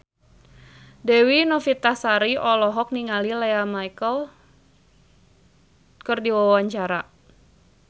Dewi Novitasari olohok ningali Lea Michele keur diwawancara